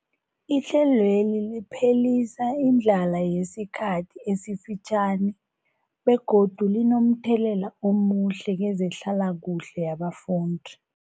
Ihlelweli liphelisa indlala yesikhathi esifitjhani begodu linomthelela omuhle kezehlalakuhle yabafundi.